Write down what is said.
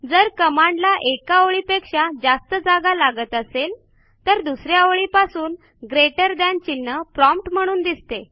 जर कमांडला एका ओळीपेक्षा जास्त जागा लागत असेल तर दुस या ओळीपासून ग्रेटर थान चिन्ह प्रॉम्प्ट म्हणून दिसते